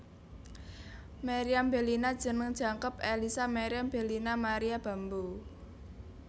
Meriam Bellina jeneng jangkep Ellisa Meriam Bellina Maria Bamboe